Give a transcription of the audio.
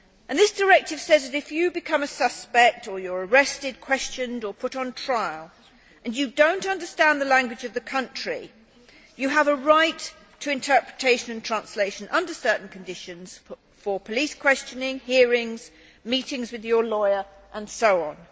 This directive says that, if you become a suspect or you are arrested, questioned or put on trial and you do not understand the language of the country, you have a right to interpretation and translation, under certain conditions, for police questioning, hearings, meetings with your lawyer and so on.